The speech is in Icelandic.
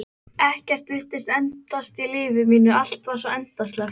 Ekkert virtist endast í lífi mínu, allt var svo endasleppt.